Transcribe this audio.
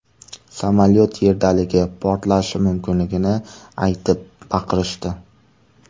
Samolyot yerdaligi, portlashi mumkinligini aytib baqirishdi.